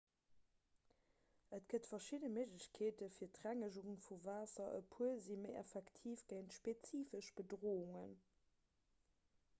et gëtt verschidde méiglechkeete fir d'rengegung vu waasser e puer si méi effektiv géint spezifesch bedroungen